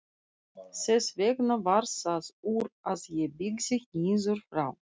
Þess vegna varð það úr að ég byggði niður frá.